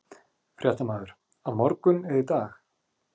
Fréttamaður: Á morgun eða í dag?